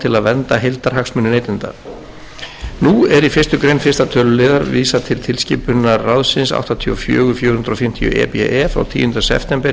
vernda heildarhagsmuni neytenda nú er í fyrstu grein fyrstu tl vísað til tilskipunar ráðsins áttatíu og fjögur fjögur hundruð fimmtíu e b e frá tíunda september